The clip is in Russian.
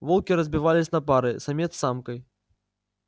волки разбивались на пары самец с самкой